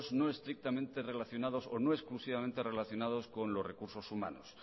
no estrictamente relacionados o no exclusivamente relacionados con los recursos humanos